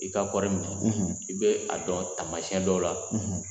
I ka kɔɔri mugu i bɛ a dɔn taamasyɛn dɔw la